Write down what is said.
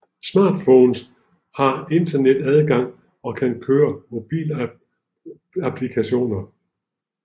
Smartphones har internetadgang og kan køre mobilapplikationer